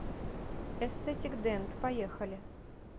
эстетик дент поехали